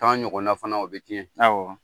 Tan ɲɔgɔna fana , o bɛ tiɲɛ awa.